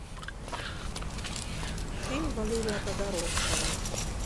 фильм валерия тодоровского